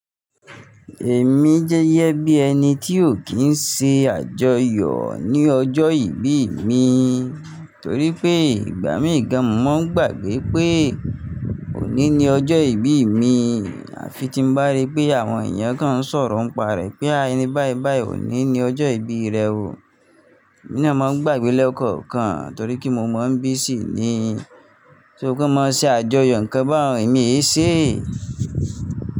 Èmi jẹ́yẹ bí ẹni tí ò kí ń ṣe àjọyọ̀ ní ọjọ́ ìbí mi, torí pé ìgbà mí gán mo mon gbàgbé pé òní ni ọjọ́ ìbí mi. Àfi tí mo bá rí pé àwọn èèyàn kan ń sọ̀rọ̀ ń pa rẹ̀ pé a ẹni bái bái òní ni ọjọ́ ìbí rẹ o. Èmi náà máa ń gbàgbé lẹ́kọ̀ọ̀kan torí kí mo mọ bí ṣì ní. Ṣó pé mo máa ṣe àjọyọ̀ nǹkan bá òun èmi yé ṣe?